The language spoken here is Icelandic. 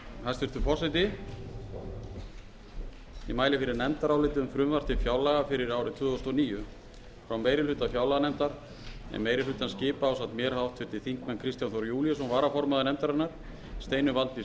hæstvirtur forseti ég mæli fyrir nefndaráliti um frumvarp til fjárlaga fyrir árið tvö þúsund og níu frá meiri hluta fjárlaganefndar en meiri hlutann skipa ásamt mér háttvirtir þingmenn kristján þór júlíusson varaformaður nefndarinnar steinunn valdís